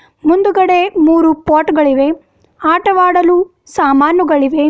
ಮುಂದಗಡೆ ಮೂರು ಪಾಟ್ ಗಳಿವೆ ಆಟವಾಡಲು ಸಾಮಾನುಗಳಿವೆ.